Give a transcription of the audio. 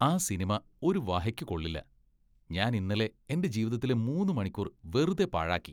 ആ സിനിമ ഒരു വഹയ്ക്കു കൊള്ളില്ല. ഞാൻ ഇന്നലെ എന്റെ ജീവിതത്തിലെ മൂന്ന് മണിക്കൂർ വെറുതെ പാഴാക്കി.